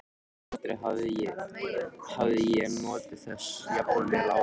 Aldrei hafði ég notið þess jafn vel áður.